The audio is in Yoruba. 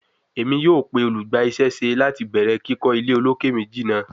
Emi yoo pe olugbaisese lati bẹrẹ kikọ ile oloke meji naa